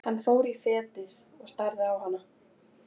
Hann fór fetið og starði á hana.